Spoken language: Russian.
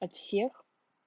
от всех